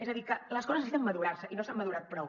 és a dir que les coses necessiten madurar se i no s’han madurat prou